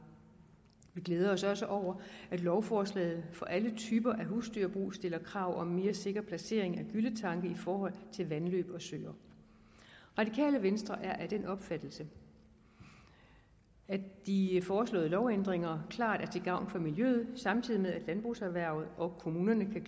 vi glæder os også over at lovforslaget for alle typer husdyrbrug stiller krav om en mere sikker placering af gylletanke i forhold til vandløb og søer radikale venstre er af den opfattelse at de foreslåede lovændringer klart er til gavn for miljøet samtidig med at landbrugserhvervet og kommunerne kan